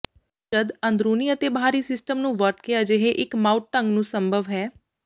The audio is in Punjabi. ਜਦ ਅੰਦਰੂਨੀ ਅਤੇ ਬਾਹਰੀ ਸਿਸਟਮ ਨੂੰ ਵਰਤ ਕੇ ਅਜਿਹੇ ਇੱਕ ਮਾਊਟ ਢੰਗ ਨੂੰ ਸੰਭਵ ਹੈ